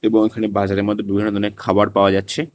বহুৎখানি বাজারের মধ্যে দুকানে দুকানে খাবার পাওয়া যাচ্ছে।